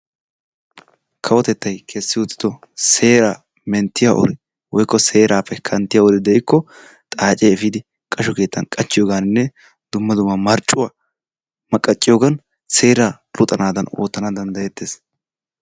Kawotetttay kessi uttido seeraa menttiyaa uri woykko seeraappe kanttiyaa uri de'iko xaacee efidi qashsho keettan qachchiyoganne dumma dumma marccuwaa maqaciyogan seeraa luxanadan oottana danddayetees.